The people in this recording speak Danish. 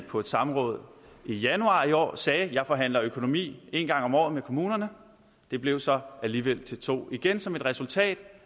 på et samråd i januar i år sagde jeg forhandler økonomi en gang om året med kommunerne det blev så alligevel til to igen som et resultat